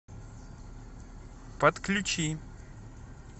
подключи